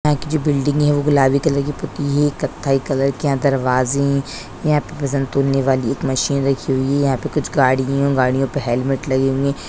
यहाँ की जो बिल्डिंग है वो गुलाबी कलर की पुती हुई है कथई कलर के यहाँ दरवाजे हैं यहाँ पे वजन तोलने वाली एक मशीन रखी हुई है यहाँ पे कुछ गाड़ी हैं गाड़ियों पे हेलमेट लगे हुए हैं।